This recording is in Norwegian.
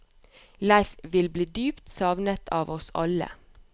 Leif vil bli dypt savnet av oss alle.